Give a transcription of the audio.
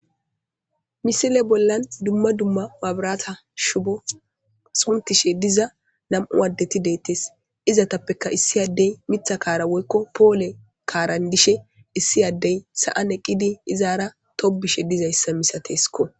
misile bollan dumma dumma waabarata shubo suntishe diza nam7u addeti deettes izatappeka issi addey mitha kaara woykko poole kaaran dishe issi addey sa7an eqqidi izaara tobishe dizayssa misateeskko